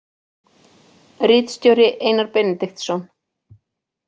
Ritstjóri Einar Benediktsson.